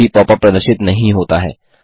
एक भी पॉपअप प्रदर्शित नहीं होता है